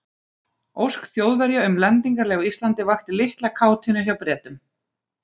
Ósk Þjóðverja um lendingarleyfi á Íslandi vakti litla kátínu hjá Bretum.